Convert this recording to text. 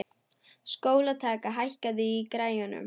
Sólkatla, hækkaðu í græjunum.